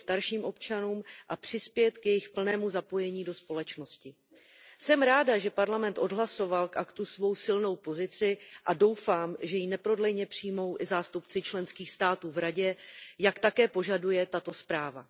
i starším občanům a přispět k jejich plnému zapojení do společnosti. Jsem ráda, že Parlament odhlasoval k aktu svou silnou pozici a doufám, že ji neprodleně přijmou i zástupci členských států v Radě, jak také požaduje tato zpráva.